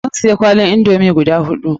Mun siya kwalin indomi guda huɗu.